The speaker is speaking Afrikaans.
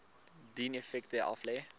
dien effekte aflê